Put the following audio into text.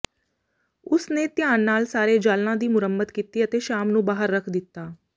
ਉਸ ਨੇ ਧਿਆਨ ਨਾਲ ਸਾਰੇ ਜਾਲਾਂ ਦੀ ਮੁਰੰਮਤ ਕੀਤੀ ਅਤੇ ਸ਼ਾਮ ਨੂੰ ਬਾਹਰ ਰੱਖ ਦਿੱਤਾ